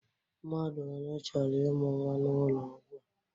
Mmadụ one chọrọ ịmụ nwa n'ụlọ ọgwụ a?